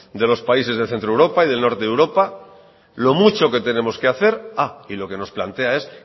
de los países del centro de europa y del norte de europa lo mucho que tenemos que hacer y lo que nos plantea es